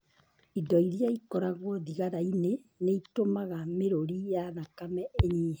Indo iria ikoragwo thigara-inĩ nĩ itũmaga mĩrũri ya thakame ĩnyihe.